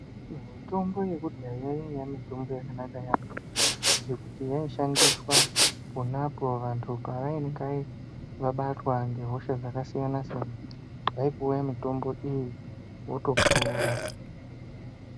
Mitombo yekudhaya yaiya mitombo yakanaka yaambo ngekuti yaishandiswa ponapo vantu pavainge vabatwa ngehosha dzakasiyana-siyana, vaipuwa mitombo iyi votopora.